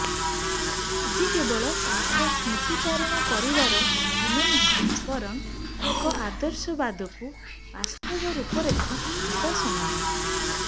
ଆଜି କେବଳ ତାଙ୍କ ସ୍ମୃତିଚାରଣ କରିବାର ଦିନ ନୁହେଁ ବରଂ ତାଙ୍କର ଆଦର୍ଶବାଦକୁ ବାସ୍ତବ ରୂପରେଖ ଦେବାର ସମୟ